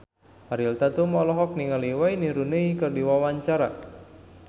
Ariel Tatum olohok ningali Wayne Rooney keur diwawancara